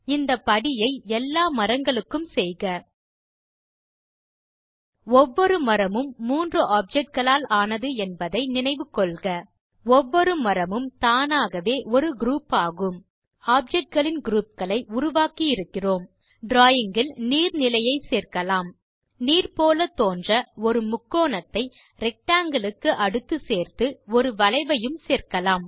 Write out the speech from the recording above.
இந்த படியை எல்லா மரங்களுக்கும் செய்க ஒவ்வொரு மரமும் மூன்று ஆப்ஜெக்ட் களால் ஆனது என்பதை நினைவுகொள்க ஒவ்வொரும் மரமும் தானாகவே ஒரு குரூப் ஆகும் ஆப்ஜெக்ட் களின் குரூப் களை உருவாக்கி இருக்கிறோம் டிராவிங் இல் நீர் நிலையை சேர்க்கலாம் நீர் போல தோன்ற ஒரு முக்கோணத்தை ரெக்டாங்கில் க்கு அடுத்து சேர்த்து ஒரு வளைவையும் சேர்க்கலாம்